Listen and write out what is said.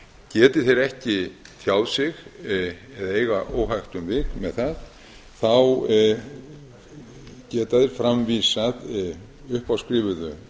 geti þeir ekki tjáð sig eða eiga óhægt um vik með það þá geta þeir framvísað uppáskrifuðu